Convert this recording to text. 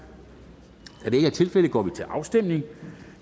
da det ikke er tilfældet går vi til afstemning